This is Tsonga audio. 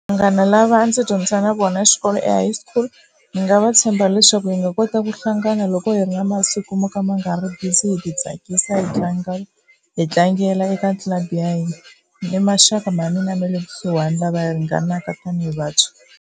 Vanghana lava a ndzi dyondza na vona xikolo e high school ni nga va tshemba leswaku hi nga kota ku hlangana loko hi ri na masiku mo ka ma nga ri busy hi ti tsakisa hi tlanga, hi tlangela eka club ya hina i maxaka ma mina ma le kusuhani lava hi ringanaka tani hi vantshwa.